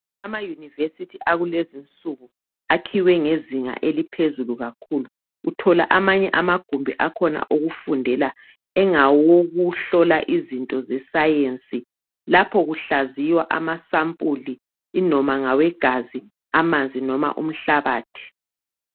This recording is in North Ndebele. Amayunivesithi akulezinsuku akhiwe ngezinga eliphezulu kakhulu uthola amanye amagumbi akhona okufundela engawokuhlola izinto zesiyensi laphakuhlaziywa amasampule inoma ngawegazi, amanzi noma umhlabathi.